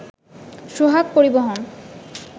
সোহাগ পরিবহন